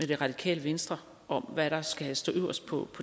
det radikale venstre om hvad der skal stå øverst på